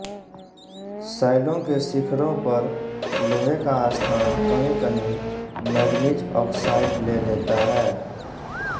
शैलों के शिखरों पर लोहे का स्थान कहीं कहीं मैंगनीज़ ऑक्साइड ले लेता है